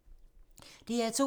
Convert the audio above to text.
DR2